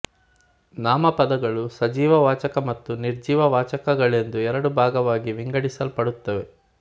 ನಾಮಪದಗಳು ಸಜೀವ ವಾಚಕ ಮತ್ತು ನಿರ್ಜೀವ ವಾಚಕಗಳೆಂದು ಎರಡು ಭಾಗವಾಗಿ ವಿಂಗಡಿಸಲ್ಪಡುತ್ತವೆ